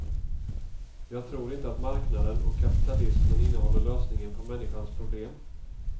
Jag tror inte att marknaden och kapitalismen innehåller lösningen på människans problem.